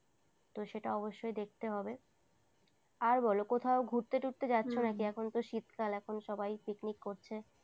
তো সেটা অবশ্যই দেখতে হবে আর বলো কোথাও ঘুরতে টুরতে যাচ্ছো নাকি এখন তো শীতকাল এখন সবাই পিকনিক করছে।